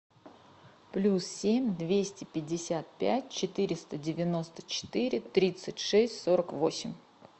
плюс семь двести пятьдесят пять четыреста девяносто четыре тридцать шесть сорок восемь